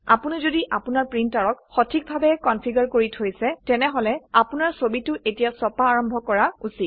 আপোনি যদি আপোনাৰ প্ৰিন্টাৰটিক সঠিকভাবে কনফিগাৰ কৰি থৈছে তেনেহলে আপোনাৰ ছবিটো এতিয়া ছপা আৰম্ভ কৰা উচিত